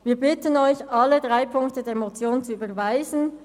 Wir bitten Sie, alle drei Ziffern der Motion zu überweisen.